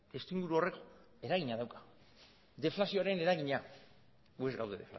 estimulu horrek eragina dauka deflazioaren eragina gu ez gaude